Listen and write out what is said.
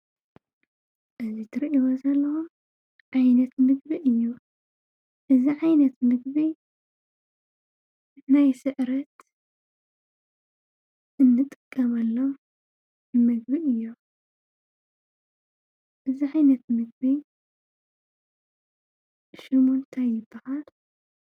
እዚ እትርእይዎ ዘለኹም ዓይነት ምግቢ እዩ። እዚ ዓይነተ ምግቢ ናይ ሰዕረት እንጥቀመሎም ምግቢ እዮም። እዚ ዓይነት ምግቢ ሽሙ ታይ ይባሃል?